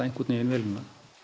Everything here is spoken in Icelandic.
vélina